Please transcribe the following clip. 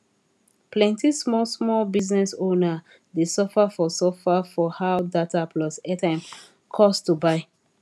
plenti small small business owner dey suffer for suffer for how data plus airtime cost to buy